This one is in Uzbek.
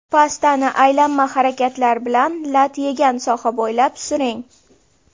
Pastani aylanma harakatlar bilan lat yegan soha bo‘ylab suring.